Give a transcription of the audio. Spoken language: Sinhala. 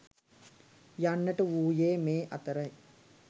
යන්නට වුයේ මේ අතරයි.